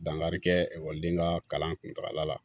Dankari kɛ ekɔliden ka kalan kuntakala la